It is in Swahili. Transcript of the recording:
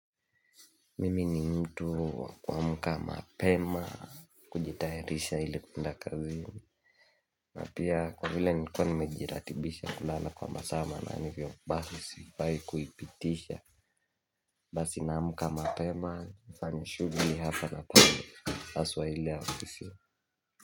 Mimi ni mtu kuamka mapema kujitayarisha ili kuenda kazini na pia kwa vile nikiwa nimejiratibisha kulala kwa masaa manane ni hivyo basi sifai kuipitisha Basi na muka mapema nifanya shughuli hapa na pale haswa ile ya ofisi.